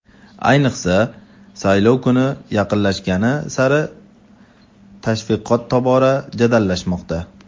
Ayniqsa, saylov kuni yaqinlashgani sari tashviqot tobora jadallashmoqda.